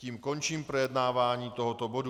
Tím končím projednávání tohoto bodu.